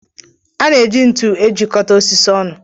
A na-eji ntu ejikọta osisi ọnụ.